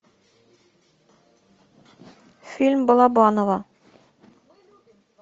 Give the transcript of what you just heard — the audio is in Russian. фильм балабанова